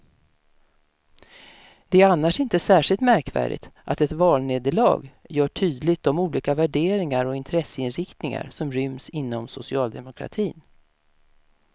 Det är annars inte särskilt märkvärdigt att ett valnederlag gör tydligt de olika värderingar och intresseinriktningar som ryms inom socialdemokratin.